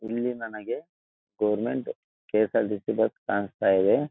ಇಲ್ಲಿ ನನಗೆ government KSRTC bus ಕಾಣಿಸ್ತಾ ಇದೆ.